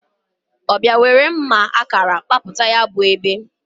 O biazie nwere mma akara kaputa ya bu ebe.